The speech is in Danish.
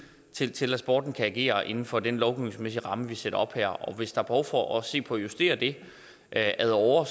til til at sporten kan agere inden for den lovgivningsmæssige ramme vi sætter op her og hvis der er behov for at se på at justere det ad åre